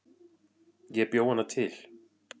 Ég bjó hana til